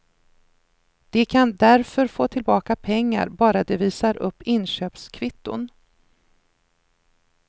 De kan därför få tillbaka pengar bara de visar upp inköpskvitton.